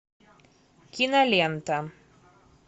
кинолента